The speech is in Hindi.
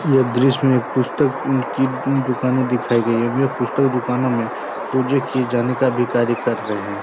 यह दृश्य में एक पुस्तक उम्म की उम्म दुकानें दिखाई गई हैं। यह पुस्तक दुकानों में पूजे किये जाने का भी कार्य कर रहे हैं।